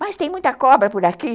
Mas tem muita cobra por aqui?